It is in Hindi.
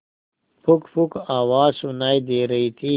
पुकपुक आवाज सुनाई दे रही थी